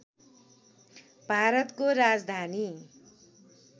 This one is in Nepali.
भारतको राजधानी